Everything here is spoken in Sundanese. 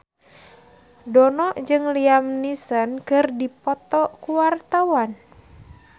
Dono jeung Liam Neeson keur dipoto ku wartawan